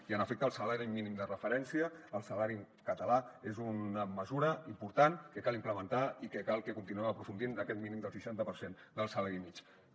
i en efecte el salari mínim de referència el salari català és una mesura important que cal implementar i cal que continuem aprofundint en aquest mínim del seixanta per cent del salari mitjà